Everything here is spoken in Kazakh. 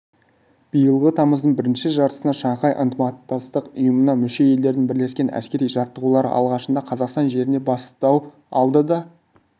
биылғы тамыздың бірінші жартысында шанхай ынтымақтастық ұйымына мүше елдердің бірлескен әскери жаттығулары алғашында қазақстан жерінде бастау алды да